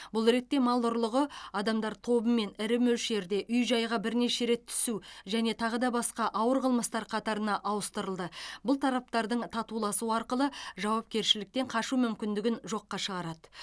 бұл ретте мал ұрлығы адамдар тобымен ірі мөлшерде үй жайға бірнеше рет түсу және тағыда басқа ауыр қылмыстар қатарына ауыстырылды бұл тараптардың татуласуы арқылы жауапкершіліктен қашу мүмкіндігін жоққа шығарады